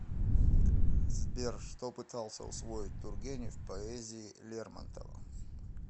сбер что пытался усвоить тургенев в поэзии лермонтова